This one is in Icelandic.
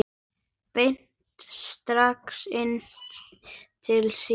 Beint strik inn til sín.